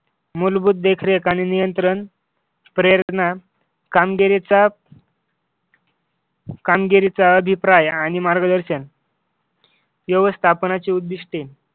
मूलभूत देखरेख आणि नियंत्रण प्रेरणा कामगिरीचा कामगिरीचा अभिप्राय आणि मार्गदर्शन व्यवस्थापनाची उद्दिष्टे